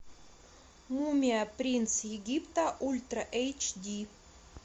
мумия принц египта ультра эйч ди